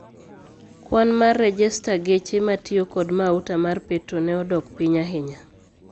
Kwan mar rejesta geche matiyo kod mauta mar petro ne odok piny ahinya.